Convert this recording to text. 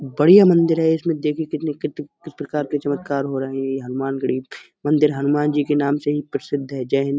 बढ़िया मंदिर है। इसमें देखिए कितने कित कित प्रकार के चमत्कार हो रहे हैं। ये हनुमान गढ़ी मंदिर हनुमान जी के नाम से ही प्रसिद्ध है। जय हिन्द।